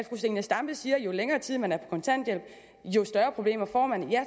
fru zenia stampe siger at jo længere tid man er på kontanthjælp jo større problemer får man ja